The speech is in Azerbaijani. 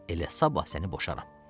Elə sabah səni boşaram.